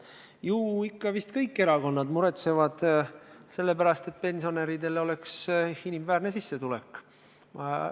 Ju vist ikka kõik erakonnad muretsevad selle pärast, et pensionäridel oleks inimväärne sissetulek.